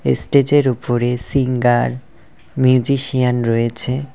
এস্টেজের উপরে singer musician রয়েছে।